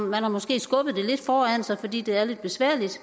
man har måske skubbet det lidt foran sig fordi det er lidt besværligt